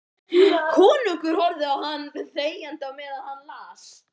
Konungur horfði á hann þegjandi á meðan hann las: